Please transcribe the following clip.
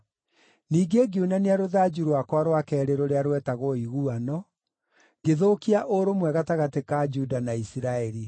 Ningĩ ngiunania rũthanju rwakwa rwa keerĩ rũrĩa rwetagwo Ũiguano, ngĩthũkia ũrũmwe gatagatĩ ka Juda na Isiraeli.